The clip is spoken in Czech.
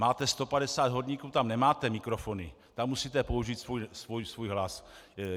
Máte 150 horníků, tam nemáte mikrofony, tam musíte použít svůj hlas.